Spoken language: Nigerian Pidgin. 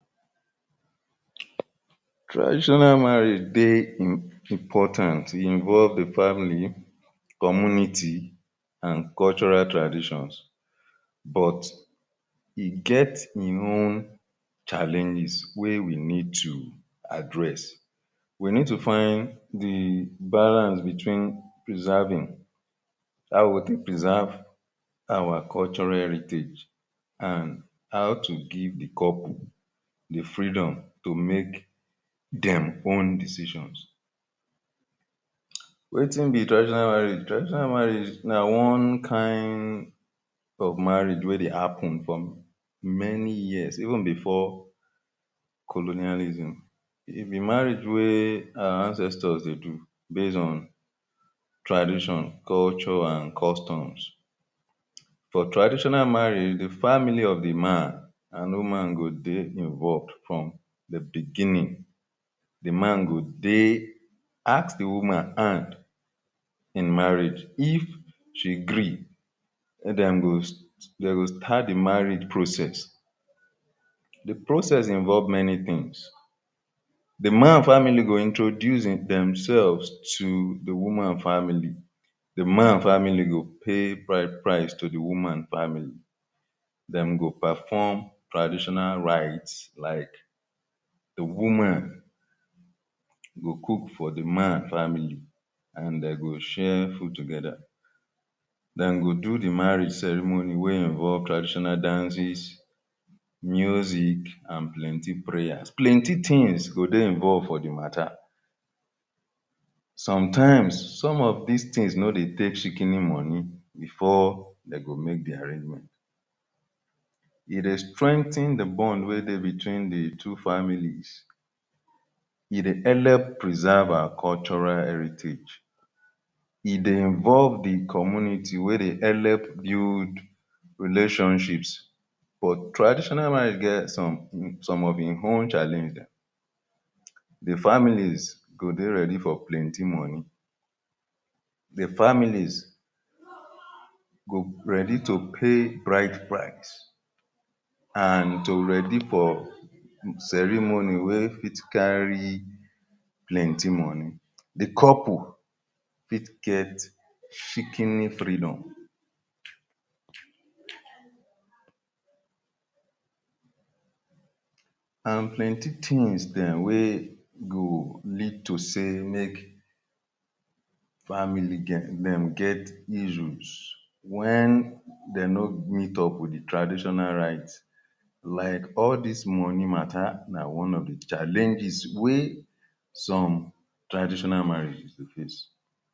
Traditional marriage dey important, e involve di family, community, and cultural traditions but e get e own challenges wey we need to address. We need to find di balance between preserving; how we go take preserve our cultural heritage and how to give the couple the freedom to make dem own decisions. Wetin be traditional marriage? Traditional marriage na one kind of marriage wey dey happen for many years even before colonialism. E be marriage wey our ancestors dey do based on tradition, culture and customs. For traditional marriage, the family of di man and woman go dey involved from di beginning. Di man go take ask di woman hand in marriage, if she gree, wey dem go start di marriage process. Di process involve many things. Di man family go introduce themselves to di woman family, di man family go pay bride price to di woman family. Dem go perform traditional rites like di woman go cook for di man family and dem go share food together, dem go do di marriage ceremony wey involve traditional dances, music and plenty prayers, plenty things go dey involved for di matter. Sometimes, some of these things no dey take shikini money before dem go make di arrangement. E dey strengthen di bond wey dey between di two families. E dey help preserve our cultural heritage, e dey involve di community wey dey help build relationships, but traditional marriage get some of e own challenge. Di families go dey ready for plenty money. Di families go ready to pay bride price and to ready for ceremony wey fit carry plenty money. Di couple fit get shikini freedom and plenty things dem wey go lead to say make families dem get issues when dem no meet up with di traditional rites like all these money matter na one of di challenges wey some traditional marriages dey face.